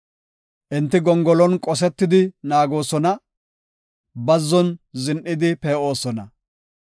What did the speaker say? Enti gongolon qoseti naagoosona; bazzon zin7idi pee7osona.